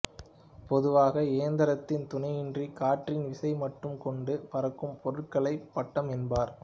பொதுவாக இயந்திரத்தின் துணையின்றி காற்றின் விசையை மட்டும் கொண்டு பறக்கும் பொருட்களையே பட்டம் என்பர்